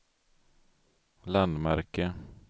landmärke